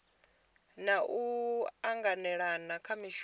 na u anganelana kha zwishumiswa